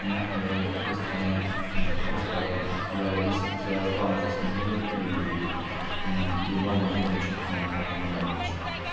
мягко говоря в неплохой стране просто поэтому я десять стран уже сменил ии и лондон тоже на что-нибудь наверняка поменяю в будущем